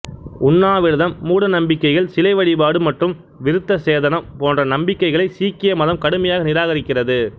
உண்ணாவிரதம் மூடநம்பிக்கைகள் சிலை வழிபாடு மற்றும் விருத்தசேதனம் போன்ற நம்பிக்கைகளை சீக்கிய மதம் கடுமையாக நிராகரிக்கிறது